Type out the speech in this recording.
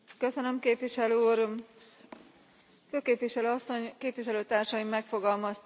Főképviselő Asszony, képviselőtársaim megfogalmazták, hogy jó lenne látni javulást